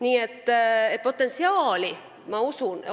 Ma usun, et potentsiaali on.